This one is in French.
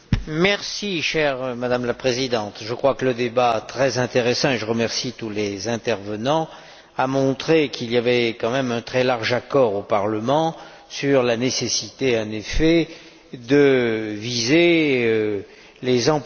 Madame la Présidente, je crois que ce débat très intéressant j'en remercie tous les intervenants a montré qu'il y avait quand même un très large accord au Parlement sur la nécessité, en effet, de viser les employeurs qui